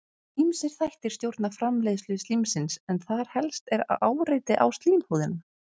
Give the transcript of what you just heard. Ýmsir þættir stjórna framleiðslu slímsins en þar helst er áreiti á slímhúðina.